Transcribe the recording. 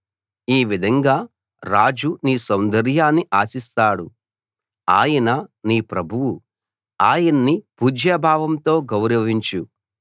ఈ విధంగా రాజు నీ సౌందర్యాన్ని ఆశిస్తాడు ఆయన నీ ప్రభువు ఆయన్ని పూజ్యభావంతో గౌరవించు